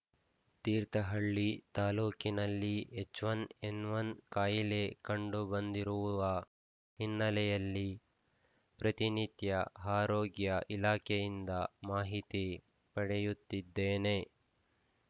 ತೀರ್ಥಹಳ್ಳಿ ತಾಲೂಕಿನಲ್ಲಿ H one N one ಕಾಯಿಲೆ ಕಂಡುಬಂದಿರುವ ಹಿನ್ನೆಲೆಯಲ್ಲಿ ಪ್ರತಿನಿತ್ಯ ಆರೋಗ್ಯ ಇಲಾಖೆಯಿಂದ ಮಾಹಿತಿ ಪಡೆಯುತ್ತಿದ್ದೇನೆ